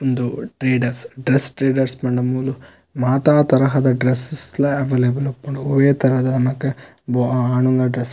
ಉಂದು traders dress traders ಪಂಡ ಮೂಲು ಮಾತ ತರಹದ ಡ್ರೆಸ್ಸ ಸ್ಸ್ ಲ ಅವೈಲೇಬಲ್ ಉಪ್ಪುಂಡು ಒವ್ವೇ ತರಹದ ನಮಕ್ ಆನುಲ್ನ ಡ್ರೆಸ್ಸ್ --